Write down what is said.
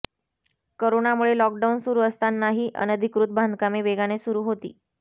करोनामुळे लॉकडाउन सुरू असतानाही अनधिकृत बांधकामे वेगाने सुरू होती